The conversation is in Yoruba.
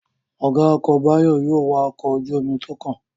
Ọ̀gá ọkọ̀ Báyọ̀ yóò wa ọkọ̀ ojú-omi tó kàn